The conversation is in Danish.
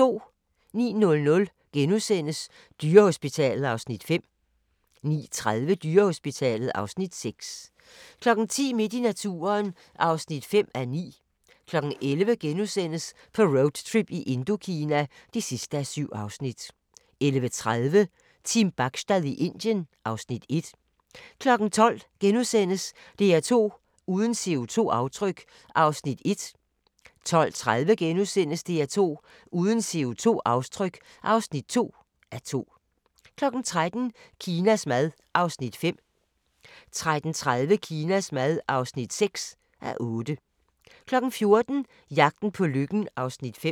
09:00: Dyrehospitalet (Afs. 5)* 09:30: Dyrehospitalet (Afs. 6) 10:00: Midt i naturen (5:9) 11:00: På roadtrip i Indokina (7:7)* 11:30: Team Bachstad i Indien (Afs. 1) 12:00: DR2 uden CO2-aftryk (1:2)* 12:30: DR2 uden CO2-aftryk (2:2)* 13:00: Kinas mad (5:8) 13:30: Kinas mad (6:8) 14:00: Jagten på lykken (5:8)